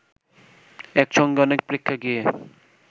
একসঙ্গে অনেক প্রেক্ষাগৃহে